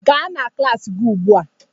Gaa na klas gị ugbu a!